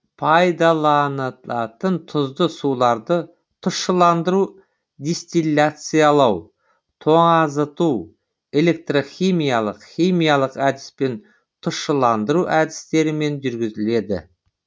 пайдаланылатын тұзды суларды тұщыландыру дистилляциялау тоңазыту электрхимиялық химиялық әдіспен тұщыландыру әдістерімен жүргізіледі